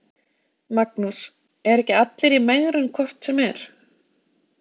Magnús: Eru ekki allir í megrun hvort sem er?